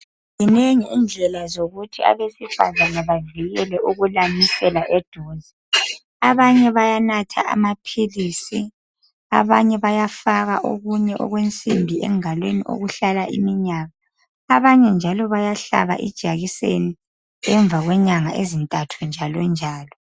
Zinengi indlela zokuthi abesifazana bevikele ukulamisela eduze abanye bayanatha amaphilisi abanye bayafaka okunye okwensimbi engalweni okuhlala iminyaka abanye njalo bayahlaba ijekiseni ngemva kwenyanga ezintathu njalonjalo.